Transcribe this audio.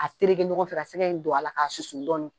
A tereke ɲɔgɔn fɛ ka sɛgɛ in don a la k'a susu dɔɔnin.